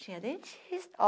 Tinha dentista.